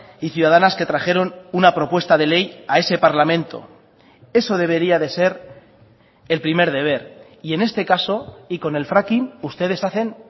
y ciudadanas que trajeron una propuesta de ley a ese parlamento eso debería de ser el primer deber y en este caso y con el fracking ustedes hacen